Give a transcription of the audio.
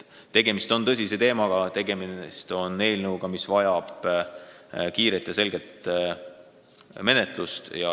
Tegemist on tõsise teemaga ning see eelnõu vajab kiiret ja selget menetlust.